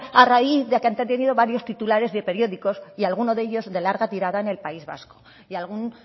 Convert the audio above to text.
a raíz de que han tenido varios titulares de periódicos y alguno de ellos de larga tirada en el país vasco y algún